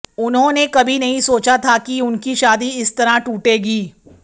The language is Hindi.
उन्होंने कभी नहीं सोचा था कि उनकी शादी इस तरह टूटेगी